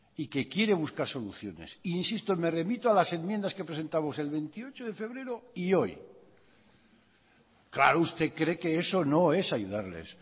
y que quiere buscar soluciones insisto me remito a las enmiendas que presentamos el veintiocho de febrero y hoy claro usted cree que eso no es ayudarles